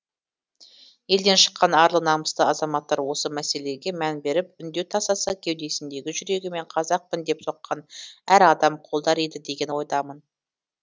елден шыққан арлы намысты азаматтар осы мәселеге мән беріп үндеу тастаса кеудесіндегі жүрегі мен қазақпын деп соққан әр адам қолдар еді деген ойдамын